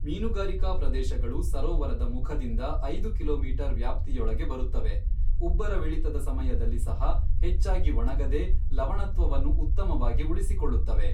ಮೀನುಗಾರಿಕಾ ಪ್ರದೇಶಗಳು ಸರೋವರದ ಮುಖದಿಂದ ಐದು ಕಿಲೋಮೀಟರ್ ವ್ಯಾಪ್ತಿಯೊಳಗೆ ಬರುತ್ತವೆ, ಉಬ್ಬರವಿಳಿತದ ಸಮಯದಲ್ಲಿ ಸಹ ಹೆಚ್ಚಾಗಿ ಒಣಗದೇ ಲವಣತ್ವವನ್ನು ಉತ್ತಮವಾಗಿ ಉಳಿಸಿಕೊಳ್ಳುತ್ತವೆ.